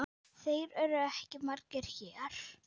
Þeir eru ekki margir hér.